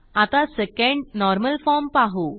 आता second normal form पाहू